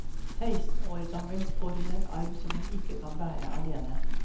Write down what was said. Seksten år gammel får hun en arv som hun ikke kan bære alene.